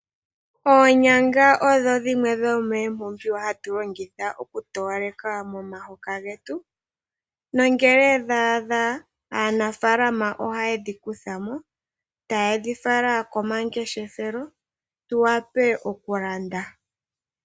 Oonyanga odho dhimwe dho mee mpumbiwa hatu longitha oku towaleka momahoka getu, nangele dha a dha aanafalama oha yedhi kuthamo, taye dhi fala komangeshefelo tu wa pe okulanda.